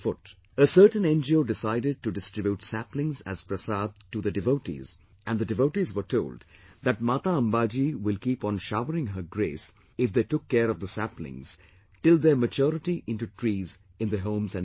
A certain NGO decided to distribute saplings as 'Prasad' to the devotees, and the devotees were told that Mata Ambaji will keep on showering her grace, if they took care of the saplings, till their maturity into trees in their homes and villages